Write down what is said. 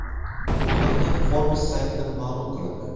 Bu haqda Forbes saytida ma’lum qilindi .